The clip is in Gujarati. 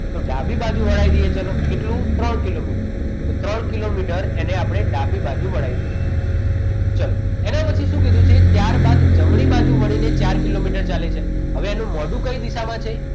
તો ડાબી બાજુ વડાવી દઈએ ચલો કેટલું ત્રણ કિલોમીટર તો ત્રણ કિલોમીટર એને આપણે ડાબી બાજુ વડાવી દઈએ ચાલો એને પછી સુ કીધું છે ત્યારબાદ જમણી બાજુ વળીને ચાર કિલોમીટર ચાલે છે હવે એનું મોઢું કઈ દિશામાં છે